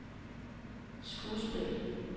skuespil